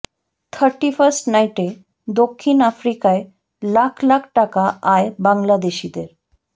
thirty-first নাইটে দক্ষিণ আফ্রিকায় লাখ লাখ টাকা আয় বাংলাদেশিদের